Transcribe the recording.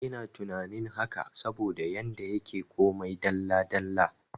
Ina tunanin haka saboda yanda yake komai dalla dalla